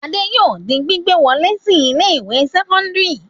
Adé yóò di gbígbà wọlé sí ilé-ìwé sẹ́kọ́ndárì yìí.